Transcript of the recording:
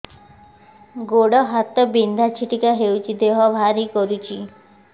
ଗୁଡ଼ ହାତ ବିନ୍ଧା ଛିଟିକା ହଉଚି ଦେହ ଭାରି କରୁଚି